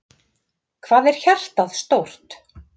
Hvað er hjartað stórt?